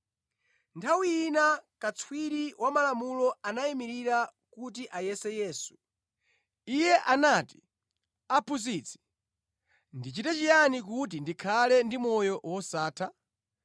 Nthawi ina katswiri wa malamulo anayimirira kuti ayese Yesu. Iye anati, “Aphunzitsi, ndichite chiyani kuti ndikhale ndi moyo wosatha?”